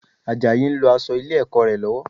Àjàyí ń lọ aṣọ ilé-ẹ̀kọ́ rẹ̀ lọ́wọ́